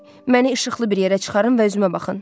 Məni işıqlı bir yerə çıxarın və özümə baxın.